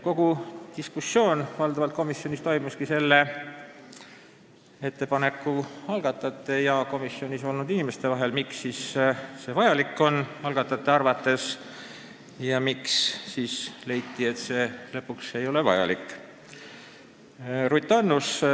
Kogu diskussioon toimuski valdavalt selle ettepaneku esitajate ja komisjonis olnud inimeste vahel: miks oli ettepanek algatajate arvates vajalik ja miks lõpuks komisjonis leiti, et see ikkagi ei ole vajalik.